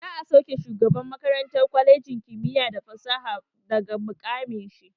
Za'a sauke shugaban makarantar kwalejin kimiyya da fasaha daga muƙamin shi.